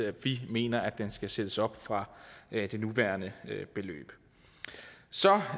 at vi mener at den skal sættes op fra det nuværende beløb